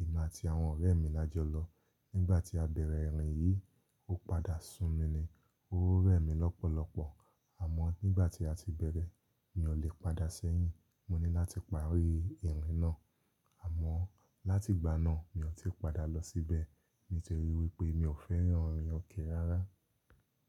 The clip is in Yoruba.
Emi ati àwọn ọ̀rẹ́ mi lajọ lọ. Nígbà tí a bẹ̀rẹ̀ ìrìn yìí, ó padà sun mi ni. Ó remi lọ́pọ̀lọpọ̀. Àmọ́ nígbà tí a ti bẹ̀rẹ̀, mi ò lè padà sẹ́yìn. Mo ní láti parí ìrìn náà. Àmọ́ láti ìgbà náà, mi ò tí padà lọ síbẹ̀ nítorí wípé mi ò fẹ́ràn ìrìn òkè rárá.